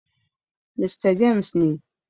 Mista James ne.